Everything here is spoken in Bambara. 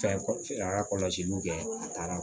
Fɛn a ka kɔlɔsiliw kɛ a taara